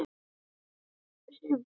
Þvílíkt högg og léttur fugl.